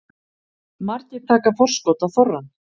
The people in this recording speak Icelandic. Margir taka forskot á þorrann